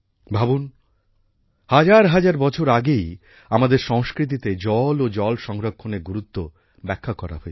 ভাবুন হাজার হাজার বছর আগেই আমাদের সংস্কৃতিতে জল ও জল সংরক্ষণের গুরুত্ব ব্যাখ্যা করা হয়েছে